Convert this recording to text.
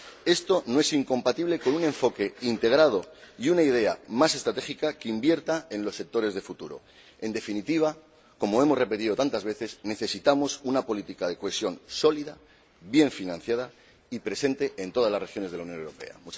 Esto no es incompatible con un enfoque integrado y con una idea más estratégica, que invierta en los sectores de futuro. En definitiva, como hemos repetido tantas veces, necesitamos una política de cohesión sólida, bien financiada y presente en todas las regiones de la Unión Europea.